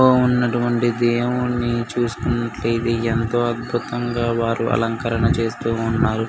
ఉన్నటువంటి దేవుణ్ణి చూస్తున్నట్లైతే ఎంతో అద్భుతంగా వారు అలంకర చేస్తూ ఉన్నారు.